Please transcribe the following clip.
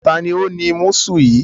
Taàní ó ní músù yìí?